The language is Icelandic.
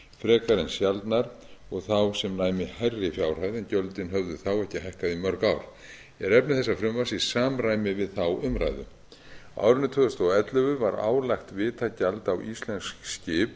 en sjaldnar og þá sem næmi hærri fjárhæð er efni þessa frumvarps í samræmi við þá umræðu á árinu tvö þúsund og ellefu var álagt vitagjald á íslensk skip